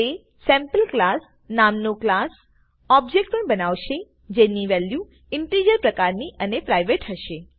તે સેમ્પલક્લાસ નામ નો ક્લાસ ઓબ્બેજ્ક્ત પણ બનાવશે જેની વેલ્યુ ઇનટીજર પ્રકારની અને પ્રાઇવેટ હશે